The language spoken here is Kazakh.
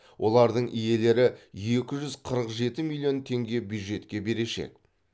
олардың иелері екі жүз қырық жеті миллион теңге бюджетке берешек